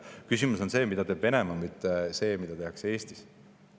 Küsimus on selles, mida teeb Venemaa, mitte selles, mida tehakse Eestis.